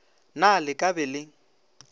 na le ka be le